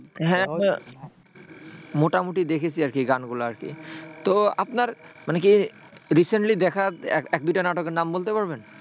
হ্যাঁ হ্যাঁ মোটামুটি দেখেছি আরকি গানগুলা আরকি। তো আপনার মানে কি recently দেখা এক এক দুইটা নাটকের নাম বলতে পারবেন?